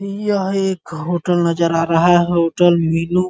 यह एक होटल नज़र आ रहा है होटल मीनू --